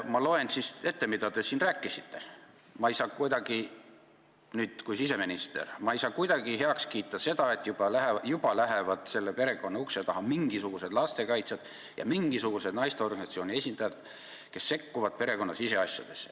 Ma loen ette, mida te siin rääkisite kui siseminister: "Ma ei saa kuidagi heaks kiita seda, et juba lähevad selle perekonna ukse taha mingisugused lastekaitsjad ja mingisugused naisteorganisatsioonide esindajad, kes sekkuvad selle perekonna siseasjadesse.